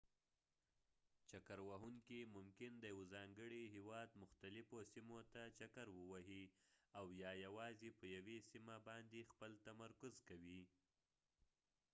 چکر وهونکي ممکن د یوه ځانګړي هیواد مختلفو سیمو ته چکر ووهي او یا یوازې په یوې سیمه باندې خپل تمرکز کوي